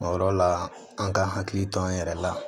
O yɔrɔ la an k'an hakili to an yɛrɛ la